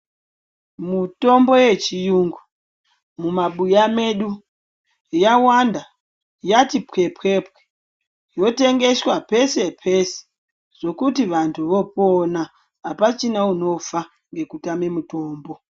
Mutombo yechiyungu, mumabuya medu, yawanda, yati pwepwepwe. Yotengeswa pese pese, zvokuti vantu vopona. Hapachina unofa ngekutame mitombo.